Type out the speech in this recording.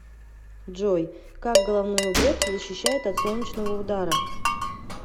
джой как головной убор защищает от солнечного удара